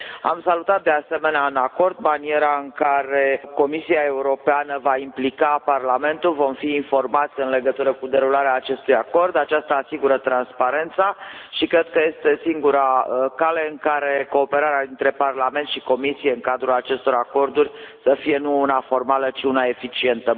Am salutat, de asemenea, în acord maniera în care Comisia Europeană va implica Parlamentul, vom fi informați în legătură cu derularea acestui acord, aceasta asigură transparența și cred că este singura cale prin care cooperarea dintre Parlament și Comisie în cadrul acestor acorduri să fie nu una formală, ci una eficientă.